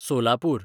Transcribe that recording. Solapur